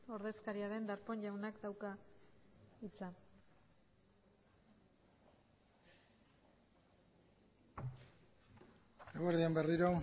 ordezkaria den darpón jaunak dauka hitza eguerdi on berriro